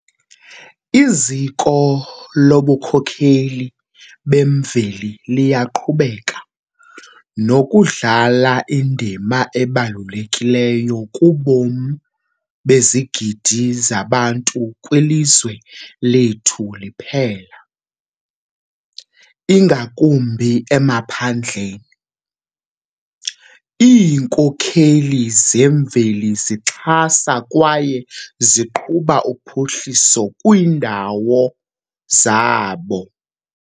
Iziko lobunkokheli bemveli liyaqhubeka nokudlala indima ebalulekileyo kubomi bezigidi zabantu kwilizwe lethu liphela, ingakumbi emaphandleni. Iinkokheli zemveli zixhasa kwaye ziqhuba uphuhliso kwiindawo zabo.